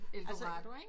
Eldorado ikk